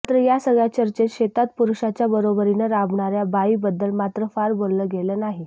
मात्र या सगळ्या चर्चेत शेतात पुरुषाच्या बरोबरीनं राबणाऱ्या बाईबद्दल मात्र फार बोललं गेलं नाही